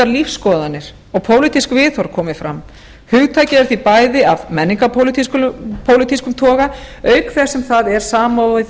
lífsskoðanir og pólitísk viðhorf komi fram hugtakið er því bæði af menningarpólitískum toga auk þess sem það er samofið